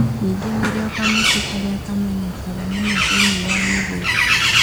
Ningĩ nĩrĩo kamũtĩ karĩa kamenyekaga mũno thĩinĩ wa mĩgũnda.